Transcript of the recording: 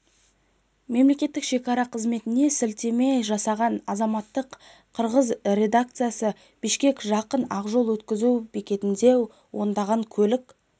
мемлекеттік шекара қызметіне сілтеме жасаған азаттықтың қырғыз редакциясы бішкекке жақын ақ-жол өткізу бекетінде ондаған көлік